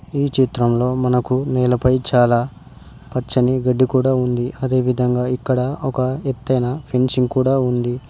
ఈ చిత్రంలో మనకు నేలపై చాలా పచ్చని గడ్డి కూడా ఉంది అదే విధంగా ఇక్కడ ఒక ఎత్తైన ఫ్రెంచింగ్ కూడా ఉంది.